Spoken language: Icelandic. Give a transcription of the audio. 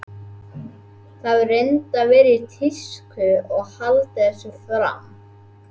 Það hefur reyndar verið í tísku að halda þessu fram.